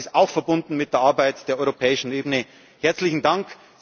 sind. Und das ist auch verbunden mit der Arbeit der europäischen Ebene. Herzlichen